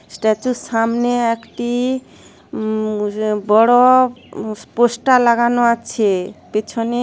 স্ট্যাচুর সামনে একটি উম--- বড় পোস্টার লাগানো আছে পেছনে--